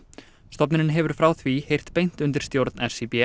stofnunin hefur frá því heyrt beint undir stjórn